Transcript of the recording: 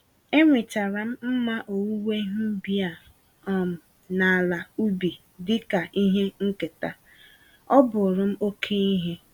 Enwetara m mma owuwe ihe ubi a um na ala ubi dịka ihe nketa—ọ bụrụm oke ihe.